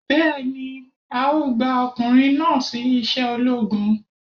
Bẹ́ẹ̀ni, a ó gba ọkùnrin náà sí iṣẹ́ ológun